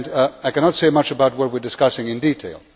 I cannot say much about what we are discussing in detail.